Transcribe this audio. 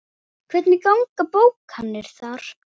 Hvernig ganga bókanir þar?